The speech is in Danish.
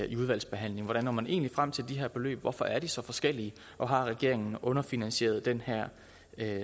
i udvalgsbehandlingen hvordan når man egentlig frem til de her beløb hvorfor er de så forskellige og har regeringen underfinansieret den her